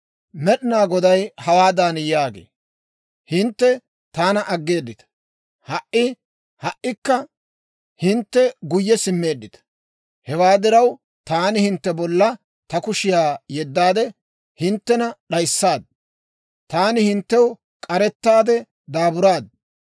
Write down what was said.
Med'inaa Goday hawaadan yaagee; «Hintte taana aggeeddita; ha"i ha"ikka hintte guyye simmeeddita. Hewaa diraw, taani hintte bolla ta kushiyaa yeddaade hinttena d'ayissaad; taani hinttew k'arettaade daaburaad.